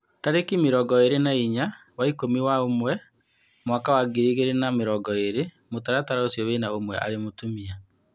Tarĩki mĩrongo ĩrĩ na-inya wa ikũmi na-ũmwe mwaka wa ngiri igĩrĩ na mĩrongo ĩrĩ. Mũtaratara ũcio wĩna ũmwe arĩ Mũtumia.